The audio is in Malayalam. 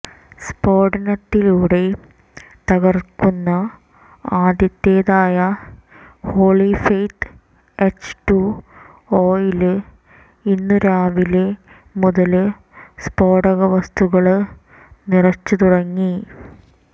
സ്ഫോടനത്തിലൂടെ തകര്ക്കുന്ന ആദ്യത്തേത്തായ ഹോളിഫെയ്ത്ത് എച്ച് ടു ഒയില് ഇന്ന് രാവിലെ മുതല് സ്ഫോടക വസ്തുക്കള് നിറച്ചു തുടങ്ങി